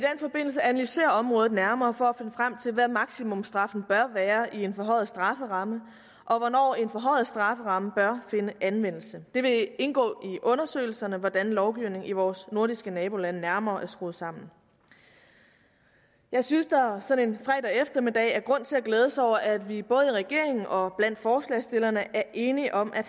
forbindelse analysere området nærmere for at finde frem til hvad maksimumstraffen bør være i en forhøjet strafferamme og hvornår en forhøjet strafferamme bør finde anvendelse det vil indgå i undersøgelserne hvordan lovgivningen i vores nordiske nabolande nærmere er skruet sammen jeg synes der sådan en fredag eftermiddag er grund til at glæde sig over at vi både i regeringen og blandt forslagsstillerne er enige om at